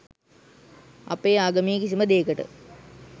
අපේ ආගමේ කිසිම දේකට